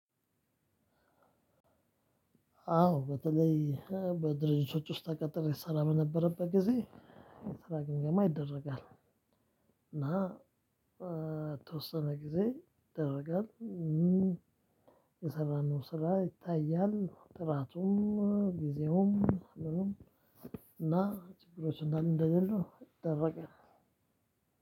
አዎ በተለይ በድርጅቶች ውስጥ ተቀጥሬ እሰራ በነበረበት ጊዜ ስራ ግምገማ ይደረጋል። እና በተወሰነ ጊዜ ይደረጋል። የሰራነው ስራ ይታያል ጥራቱም ጊዜውም ምኑም እና ችግሮችን እንዳሉ እንደሌሉ ይደረጋል።